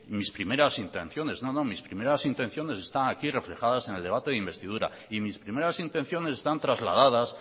mis primeras intenciones no no mis primeras intenciones están aquí reflejadas en el debate de investidura y mis primeras intenciones están trasladadas